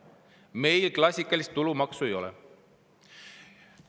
Meil klassikalist tulumaksu ei ole.